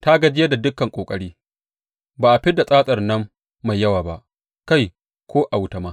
Ta gajiyar da dukan ƙoƙari; ba a fid da tsatsarta nan mai yawa ba, kai, ko a wuta ma.